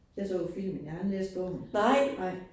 Jeg så filmen, jeg har aldrig læst bogen. Nej